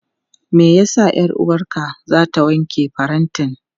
Me ya sa 'yar'uwarka za ta wanke farantin?